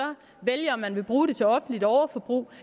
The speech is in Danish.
vælge om man vil bruge dem til offentligt overforbrug